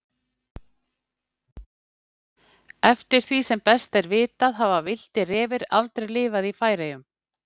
Eftir því sem best er vitað hafa villtir refir aldrei lifað í Færeyjum.